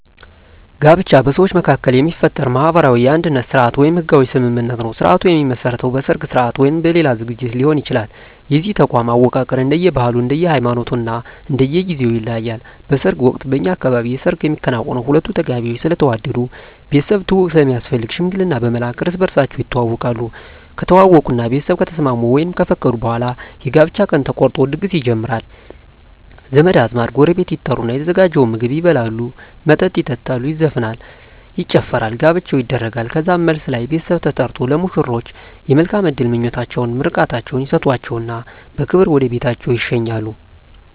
ጋብቻ በሰዎች መካከል የሚፈጠር ማህበራዊ የአንድነት ስርአት ወይም ህጋዊ ስምምነት ነዉ ስርአቱ የሚመሰረተዉ በሰርግ ስርአት ወይም በሌላ ዝግጅት ሊሆን ይችላል የዚህ ተቋም አወቃቀር እንደየ ባህሉ እንደየ ሃይማኖቱ እና እንደየ ጊዜዉ ይለያያል በሰርግ ወቅት በእኛ አካባቢ የሰርግ የሚከናወነዉ ሁለቱ ተጋቢዎች ስለተዋደዱ ቤተሰብ ትዉዉቅ ስለሚያስፈልግ ሽምግልና በመላክ እርስ በርሳቸዉ ይተዋወቃሉ ከተዋወቁእና ቤተሰብ ከተስማሙ ወይም ከፈቀዱ በኋላ የጋብቻ ቀን ተቆርጦ ድግስ ይጀመራል ዘመድ አዝማድ ጎረቤት ይጠሩና የተዘጋጀዉን ምግብ ይበላሉ መጠጥ ይጠጣሉ ይዘፈናል ይጨፈራል ጋብቻዉ ይደረጋል ከዛም መልስ ላይ ቤተሰብ ተጠርቆ ለሙሽሮች የመልካም እድል ምኞታቸዉን ምርቃታቸዉን ይሰጧቸዉና በክብር ወደ ቤታቸዉ ይሸኛሉ